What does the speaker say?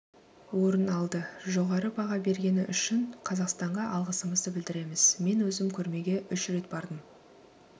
орын алды жоғары баға бергені үшін қазақстанға алғысымызды білдіреміз мен өзім көрмеге үш рет бардым